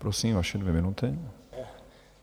Prosím, vaše dvě minuty.